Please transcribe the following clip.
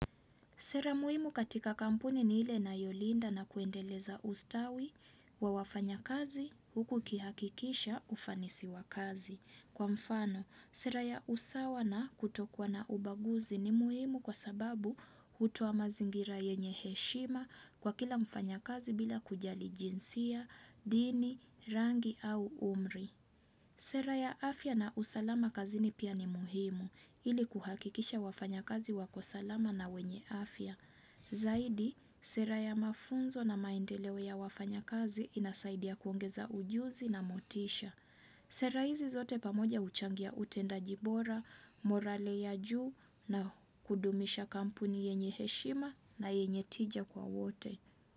Sera muhimu katika kampuni ni ile inayolinda na kuendeleza ustawi wa wafanyakazi huku ukihakikisha ufanisi wa kazi. Kwa mfano, sera ya usawa na kutokuwa na ubaguzi ni muhimu kwa sababu hutoa mazingira yenye heshima kwa kila mfanya kazi bila kujali jinsia, dini, rangi au umri. Sera ya afya na usalama kazini pia ni muhimu ili kuhakikisha wafanya kazi wako salama na wenye afya. Zaidi, sera ya mafunzo na maendeleo ya wafanya kazi inasaidia kuongeza ujuzi na motisha. Sera hizi zote pamoja uchangia utendajibora, morale ya juu na kudumisha kampuni yenye heshima na yenye tija kwa wote.